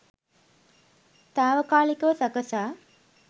තාවකාලිකව සකසා